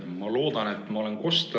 Ma loodan, et ma olen kosta.